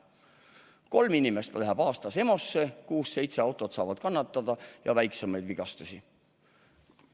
Kolm inimest aastas läheb EMO-sse, kuus-seitse autot saab kannatada ja on veel muid, väiksemaid vigastusi.